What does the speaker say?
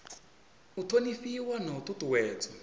u thonifhiwa na u ṱuṱuwedzwa